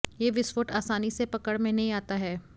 ये विस्फोट आसानी से पकड़ में नहीं आता है